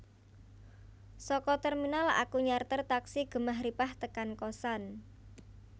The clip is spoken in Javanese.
Soko terminal aku nyarter taksi Gemah Ripah tekan kosan